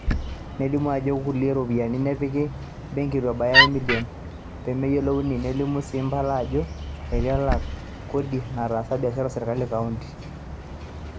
nelimu ajo ore kulie ropiyiani nepiki benki eitu ebaya emilion peemeyiolouni, nelimu sii impala ajo eiti elak kodi netaasa biashara o serkali e kaonti